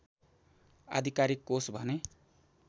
आधिकारिक कोष भने